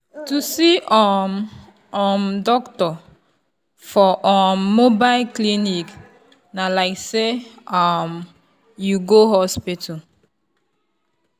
to see um um doctor for um mobile clinic na like say um you go hospital.